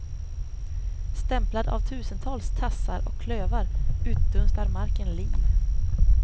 Stämplad av tusentals tassar och klövar utdunstar marken liv!